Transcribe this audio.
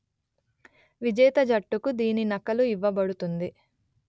విజేత జట్టుకు దీని నకలు ఇవ్వబడుతుంది